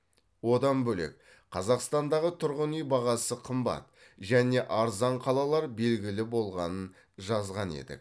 одан бөлек қазақстандағы тұрғын үй бағасы қымбат және арзан қалалар белгілі болғанын жазған едік